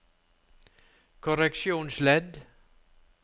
korreksjonsledd